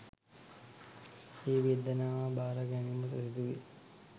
ඒ වේදනාව භාර ගැනීමට සිදුවේ